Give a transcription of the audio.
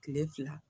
Kile fila